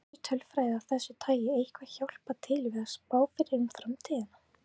Getur tölfræði af þessu tagi eitthvað hjálpað til við að spá fyrir um framtíðina?